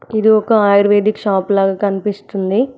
ఇది ఒక ayurvedic shop లాగా కనిపిస్తుంది.